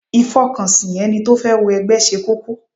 Ìfọkànsìn ẹni tó fẹ́ wọ ẹgbẹ́ ṣe kókó.